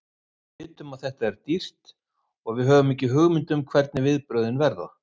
Við vitum að þetta er dýrt og við höfum ekki hugmynd um hvernig viðbrögðin verða.